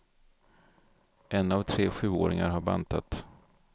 En av tre sjuåringar har bantat.